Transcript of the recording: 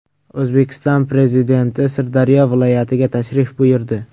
O‘zbekiston Prezidenti Sirdaryo viloyatiga tashrif buyurdi .